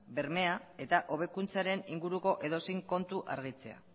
bermea eta hobekuntzaren inguruko edozein kontu argitzea